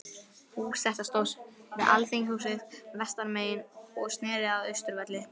Hús þetta stóð við Alþingishúsið, vestanmegin, og sneri að Austurvelli.